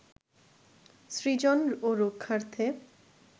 সৃজন ও রক্ষার্থে